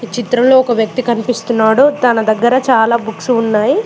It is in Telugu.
చిత్రం లో ఒక వ్యక్తి కనిపిస్తున్నాడు తన దగ్గర చాలా బుక్స్ ఉన్నాయి.